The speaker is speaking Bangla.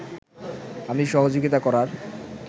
আমি সহযোগিতা করার